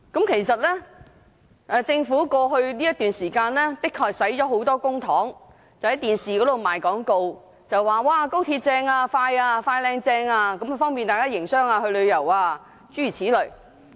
其實，政府近日的確花了很多公帑在電視上賣廣告，說高鐵"快靚正"，方便大家營商和旅遊，諸如此類。